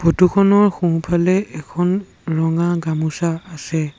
Photo খনৰ সোঁফালে এখন ৰঙা গামোচা আছে।